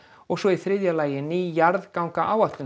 og svo í þriðja lagi ný jarðgangaáætlun